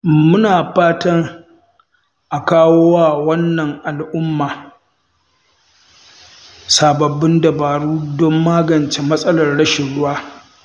Muna fatan a kawo wa wannan al'umma sababbin dabaru don magance matsalar rashin ruwa.